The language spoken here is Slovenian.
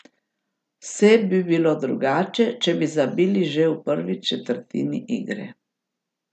Vse bi bilo drugače, če bi zabili že v prvi četrtini igre.